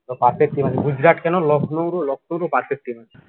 গুজরাট কেন লখনৌর ও perfect team